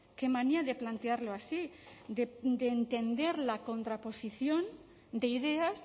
qué manía de plantearlo así de entender la contraposición de ideas